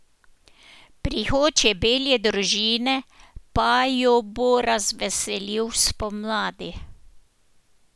Prihod čebelje družine pa jo bo razveselil spomladi.